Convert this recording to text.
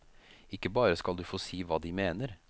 Ikke bare skal du få si hva de mener.